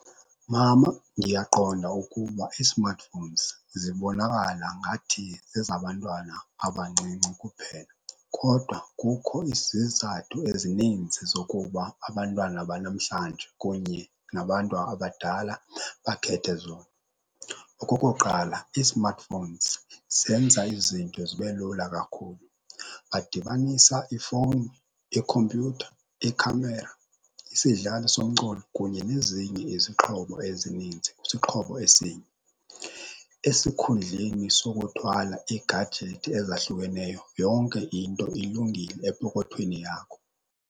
Mama, ndiyaqonda ukuba ii-smartphones zibonakala ngathi zezabantwana abancinci kuphela. Kodwa kukho izizathu ezininzi zokuba abantwana banamhlanje kunye nabantu abadala bakhethe zona. Okokuqala, ii-smartphones zenza izinto zibe lula kakhulu. Badibanisa ifowuni, ikhompyutha, ikhamera, isidlali somculo kunye nezinye izixhobo ezininzi kwisixhobo esinye. Esikhundleni sokuthwala iigajethi ezahlukeneyo yonke into ilungile epokothweni yakho.